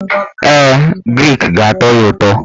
Ee, grik ga-atọ ya ụtọ.